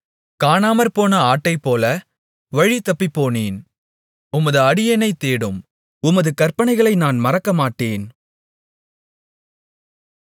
காணாமற்போன ஆட்டைப்போல வழிதப்பிப்போனேன் உமது அடியேனைத் தேடும் உமது கற்பனைகளை நான் மறக்கமாட்டேன்